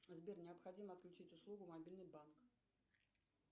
сбер необходимо отключить услугу мобильный банк